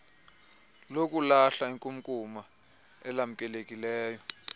lokulahla inkunkuma elamkelekileyo